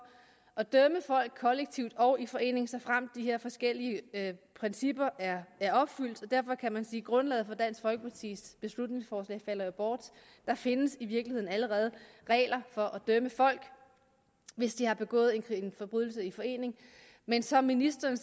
at dømme folk kollektivt og i forening såfremt de her forskellige principper er er opfyldt og derfor kan man sige at grundlaget for dansk folkepartis beslutningsforslag falder bort der findes i virkeligheden allerede regler for at dømme folk hvis de har begået en forbrydelse i forening men som ministeren